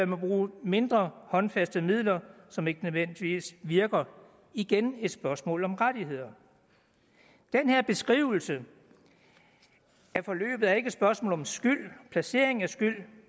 man bruge mindre håndfaste midler som ikke nødvendigvis virker det igen et spørgsmål om rettigheder den her beskrivelse af forløbet er ikke et spørgsmål om skyld og placering af skyld